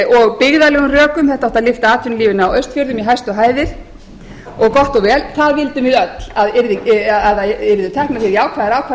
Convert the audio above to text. og byggðarlegum rökum þetta átti að lyfta atvinnulífinu á austfjörðum í hæstu hæðir og gott og vel það vildum við öll að það yrðu teknar jákvæðar